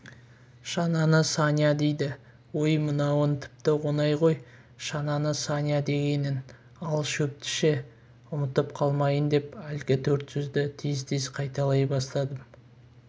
шананы саня дейді ой мынауың тіпті оңай ғой шананы саня дегенің ал шөпті ше ұмытып қалмайын деп әлгі төрт сөзді тез-тез қайталай бастадым